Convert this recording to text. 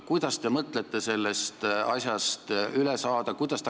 Kuidas te mõtlete sellest asjast üle saada?